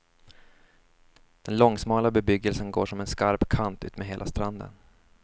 Den långsmala bebyggelsen går som en skarp kant utmed hela stranden.